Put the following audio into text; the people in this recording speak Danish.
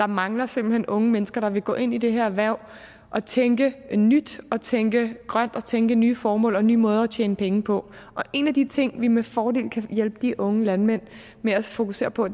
mangler simpelt hen unge mennesker der vil gå ind i det her erhverv og tænke nyt og tænke grønt og tænke nye formål og nye måder at tjene penge på og en af de ting vi med fordel kan hjælpe de unge landmænd med at fokusere på